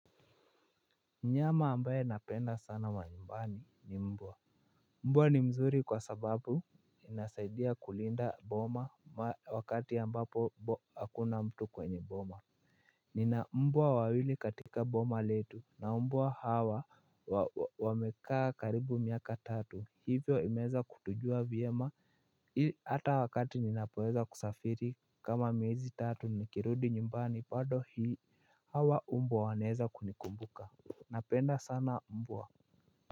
Mnyama ambaye napenda sana wa nyumbani ni mbwa mbwa ni mzuri kwa sababu inasaidia kulinda boma wakati ambapo hakuna mtu kwenye boma nina mbwa wawili katika boma letu maumbwa hawa wamekaa karibu miaka tatu hivyo imeweza kutujua vyema hata wakati ninapoweza kusafiri kama miezi tatu nikirudi nyumbani bado hii hawa umbwa wanaeza kunikumbuka napenda sana mbwa.